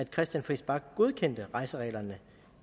christian friis bach godkendte rejsereglerne